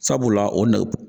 Sabula o na